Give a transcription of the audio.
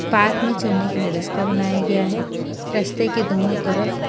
park मे चढ़ने के लिए रस्ता बनाया गया है रस्ते के दोनों तरफ--